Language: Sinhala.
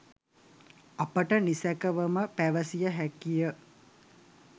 අපට නිසැකවම පැවසිය හැකිය.